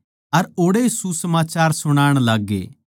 अर ओड़ै सुसमाचार सुणाण लाग्गे